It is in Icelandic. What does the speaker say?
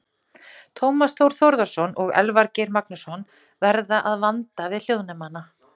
Tómas Þór Þórðarson og Elvar Geir Magnússon verða að vanda við hljóðnemana.